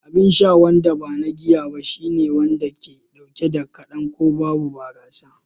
Abin sha wanda ba na giya ba shine wanda ke dauke da kadan ko babu barasa